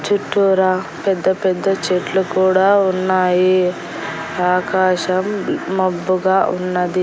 చుట్టూరా పెద్ద పెద్ద చెట్లు కూడా ఉన్నాయి ఆకాశం మబ్బుగా ఉన్నది.